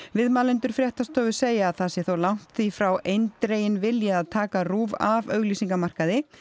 viðmælendur fréttastofu segja að það sé þó langt því frá eindreginn vilji að taka RÚV af auglýsingamarkaði